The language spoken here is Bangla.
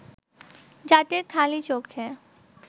যাদের খালি চোখে